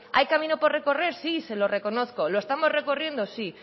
hay camino por recorrer sí se lo reconozco lo estamos recorriendo sí